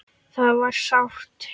Það var sárt.